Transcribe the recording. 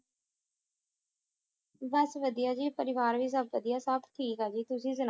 ਬਸ ਵੜਿਆ ਪਰਿਵਾਰ ਵ ਸੁਬ ਵੜਿਆ ਸਬ ਤੇਆਕ੍ਬ ਟਾਕ ਆ ਗ ਤੁਸੀਂ ਸੁਨੋ